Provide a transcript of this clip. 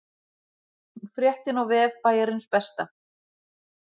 Fréttin á vef Bæjarins Besta